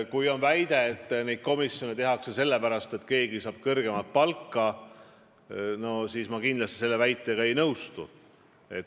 Kui te väidate, et need komisjonid tehakse sellepärast, et keegi saab siis kõrgemat palka, siis ma kindlasti sellega ei nõustu.